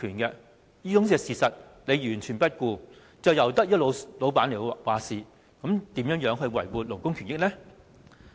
然而，政府完全不顧這種事實，任由僱主決定，試問這樣如何維護勞工權益呢？